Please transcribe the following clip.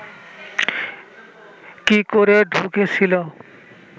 কি করে ঢুকেছিল